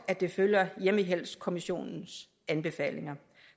at det følger hjemmehjælpskommissionens anbefalinger